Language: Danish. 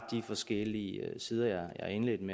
forskellige sider jeg indledte min